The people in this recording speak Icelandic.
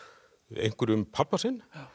einhverju um pabba sinn